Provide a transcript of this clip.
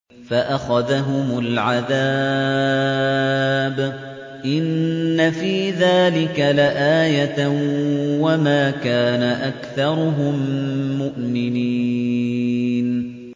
فَأَخَذَهُمُ الْعَذَابُ ۗ إِنَّ فِي ذَٰلِكَ لَآيَةً ۖ وَمَا كَانَ أَكْثَرُهُم مُّؤْمِنِينَ